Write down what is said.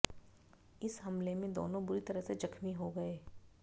इस हमले में दोनों बुरी तरह से जख्मी हो गए